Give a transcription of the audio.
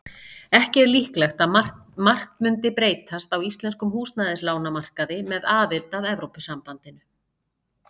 Ekki er líklegt að margt mundi breytast á íslenskum húsnæðislánamarkaði með aðild að Evrópusambandinu.